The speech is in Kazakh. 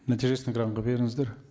нәтижесін экранға беріңіздер